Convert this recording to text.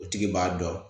O tigi b'a dɔn